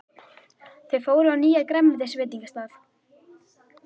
Þau fóru á nýjan grænmetisveitingastað.